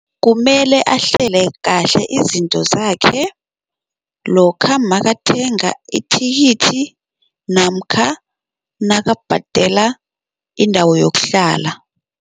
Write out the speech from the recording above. Kumele ahlele kahle izinto zakhe lokha makathenga ithikithi namkha nakabhala indawo yokuhlala.